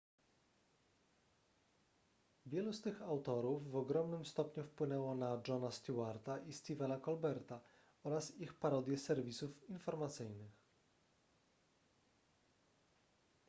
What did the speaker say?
wielu z tych autorów w ogromnym stopniu wpłynęło na jona stewarta i stephena colberta oraz ich parodie serwisów informacyjnych